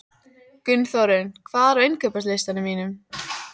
Gunnþórunn, hvað er á innkaupalistanum mínum?